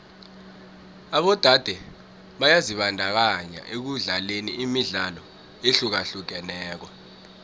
abodade byazibandakanya ekudlaleni imidlalo ehlukahlukeneko